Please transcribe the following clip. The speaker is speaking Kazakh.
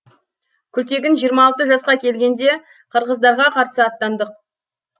күлтегін жиырма алты жасқа келгенде қырғыздарға қарсы аттандық